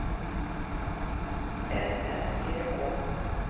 I N N G Å